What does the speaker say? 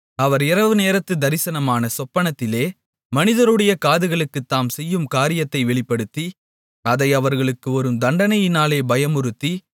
அவர் இரவு நேரத்துத் தரிசனமான சொப்பனத்திலே மனிதருடைய காதுகளுக்குத் தாம் செய்யும் காரியத்தை வெளிப்படுத்தி அதை அவர்களுக்கு வரும் தண்டனையினாலே பயமுறுத்தி